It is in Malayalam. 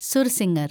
സുർസിംഗർ